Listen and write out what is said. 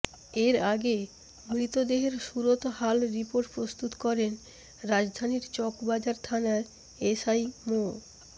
এর আগে মৃতদেহের সুরতহাল রিপোর্ট প্রস্তুত করেন রাজধানীর চকবাজার থানার এসআই মো